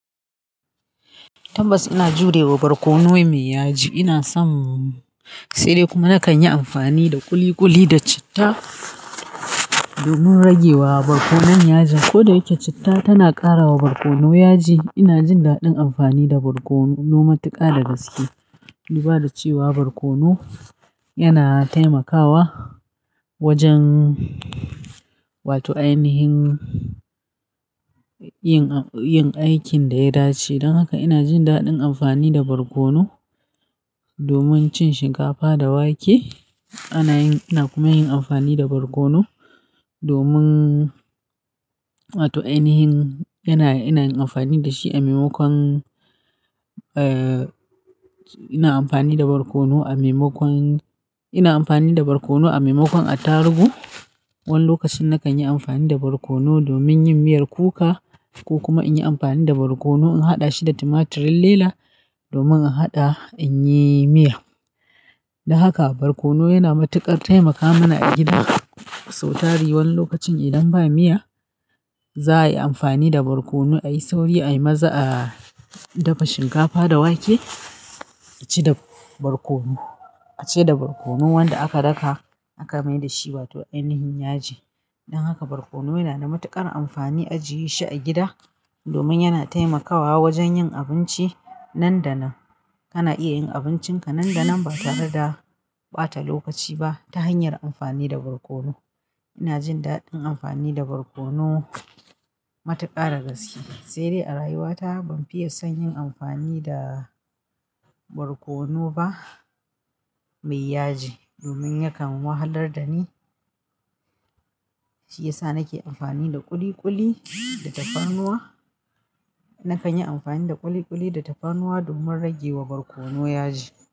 Tabbas ina jurewa barkono mai yaji. Ina son, sai dai kuma nakan yi amfani da ƙuliƙuli da citta domin ragewa barkonon yaji. Ko da yake citta tana ƙara wa barkono yaji, ina jin daɗin amfani da barkono. Na ma tiƙa da gaske. Duba da cewa barkono yana taimakawa wajen, wato ainihin yin, yin aikin da ya dace. Don haka ina jin daɗin amfani da barkono domin cin shinkafa da wake. Ana yin-- ina kuma yin amfani da barkono domin wato ainihin yana, yana yin amfani da shi a maimakon, eh, ina amfani da barkono a maimakon-- ina amfani da barkono a maimakon attaruhu. Wani lokacin nakan yi amfani da barkono domin yin miyar kuka ko kuma inyi amfani da barkono in haɗa shi da tumatirin lela domin a haɗa in yi miya. Don haka barkono yana matuƙar taimaka mana a gida. Sau tari wani lokacin idan ba miya za a yi amfani da barkono a yi sauri, a yi maza, a dafa shinkafa da wake a ci da barkono, a ci da barkono wanda aka daka aka mai da shi wato ainihin yaji. Don haka barkono yana da matuƙar amfani a jiye shi a gida domin yana taimakawa wajen yin abinci nan da nan. Kana iya yin abincinka nan da nan ba tare da ɓata lokaci ba ta hanyar amfani da barkono. Ina jin daɗin amfani da barkono matuƙa da gaske. Sai dai a rayuwata ban fiye son yin amfani da barkono ba mai yaji domin yakan wahalar da ni, shi yasa nake amfani da ƙuliƙuli da tafarnuwa. Nakan yi amfani da ƙuliƙuli da tafarnuwa domin ragewa barkono yaji.